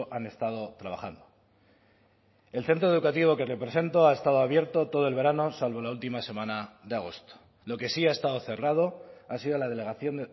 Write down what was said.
han estado trabajando el centro educativo que represento ha estado abierto todo el verano salvo la última semana de agosto lo que sí ha estado cerrado ha sido la delegación